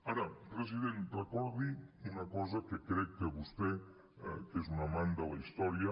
ara president recordi una cosa que crec que vostè que és un amant de la història